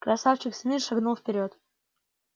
красавчик смит шагнул вперёд